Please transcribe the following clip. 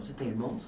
Você tem irmãos?